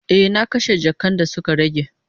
E, na kashe jakan da suka rage.